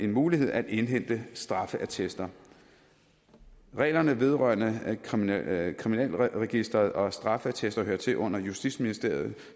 mulighed at indhente straffeattester reglerne vedrørende kriminalregisteret og straffeattester hører til under justitsministeriet